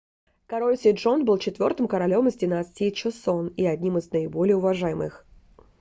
король седжон был четвёртым королем из династии чосон и одним из наиболее уважаемых